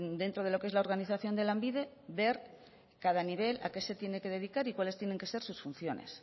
dentro de lo qué es la organización de lanbide ver cada nivel a qué se tiene que dedicar y cuáles tienen que ser sus funciones